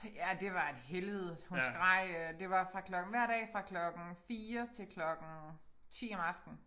Ja det var et helvede hun skreg øh det var fra klokken hver dag fra klokken 4 til klokken 10 om aftenen